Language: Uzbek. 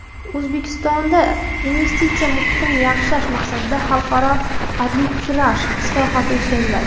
O‘zbekistonda investitsiya muhitini yaxshilash maqsadida xalqaro arbitraj islohoti o‘tkaziladi.